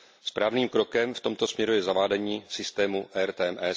Správným krokem v tomto směru je zavádění systému RTMS.